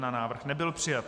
Návrh nebyl přijat.